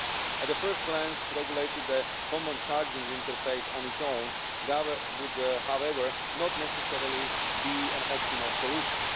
At first glance, regulating the common charging interface on its own would, however, not necessarily be an optimal solution.